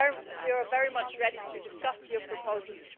We are very much ready to discuss your proposals.